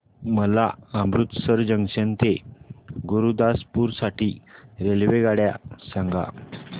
मला अमृतसर जंक्शन ते गुरुदासपुर साठी रेल्वेगाड्या सांगा